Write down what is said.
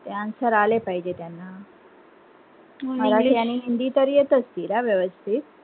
ते answer आले पाहिजे त्यांना हिंदी तर येत असतील ना वेवस्थित